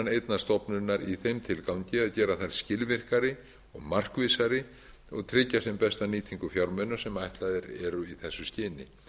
einnar stofnunar í þeim tilgangi að gera þær skilvirkari markvissari og tryggja þar besta nýtingu fjármuna sem ætlaðar eru í þessu skyni